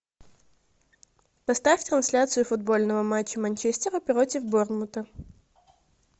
поставь трансляцию футбольного матча манчестера против борнмута